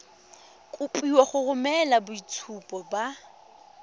kopiwa go romela boitshupo ba